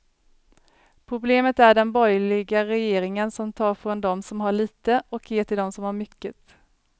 Problemet är den borgerliga regeringen som tar från dom som har lite och ger till dom som har mycket.